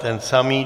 Ten samý.